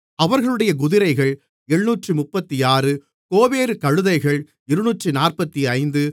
அவர்களுடைய குதிரைகள் 736 கோவேறு கழுதைகள் 245